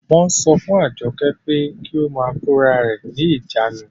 Wọ́n sọ fún Àjọkẹ́ pé kí ó máa kórarẹ̀ ní ìjánu